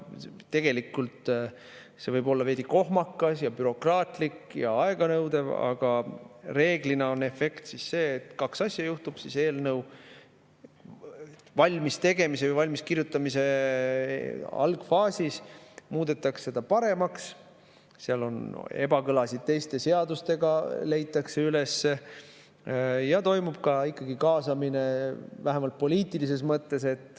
Tegelikult see võib olla veidi kohmakas ja bürokraatlik ja aeganõudev, aga reeglina on efekt see, et kaks asja juhtub: eelnõu valmiskirjutamise algfaasis muudetakse ta paremaks, ebakõlad teiste seadustega leitakse üles ja toimub ikkagi ka kaasamine, vähemalt poliitilises mõttes.